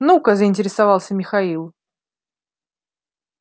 ну-ка заинтересовался михаил